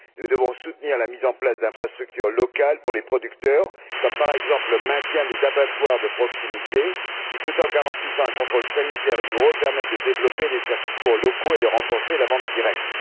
Nous devons soutenir la mise en place d'infrastructures locales pour les producteurs, comme par exemple le maintien des abattoirs de proximité qui, tout en garantissant un contrôle sanitaire rigoureux, permettent de développer des circuits courts locaux et de renforcer la vente directe.